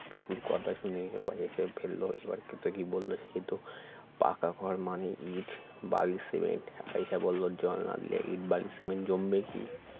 পিকুর কথা শুনে সবাই হেসে ফেলল এবার কেতকী বলল সেতো পাকা ঘর মানেই ইট বালি সিমেন্ট আয়েশা বলল জল না দিলে ইট বালি সিমেন্ট জমবে কি